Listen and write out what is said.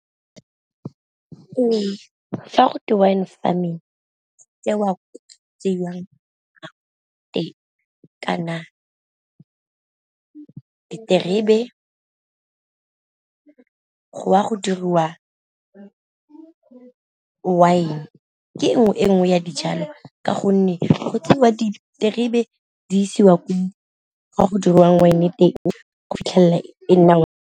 fa go twe wine farming kana diterebe go a go diriwa wine ke e nngwe e nngwe ya dijalo, ka gonne go tseiwa diterebe di isiwa ko go diriwang wine teng go fitlhelela e nna .